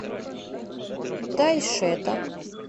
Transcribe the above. тайшета